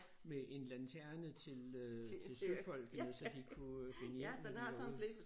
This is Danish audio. Men en lanterene til øh til søfolkene så de kunne finde hjem når de var ude